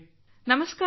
ನಮಸ್ಕಾರ ಸರ್